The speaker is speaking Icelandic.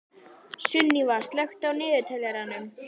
Sunníva, slökktu á niðurteljaranum.